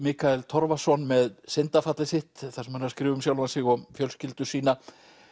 Mikael Torfason með syndafallið sitt þar sem hann er að skrifa um sjálfan sig og fjölskyldu sína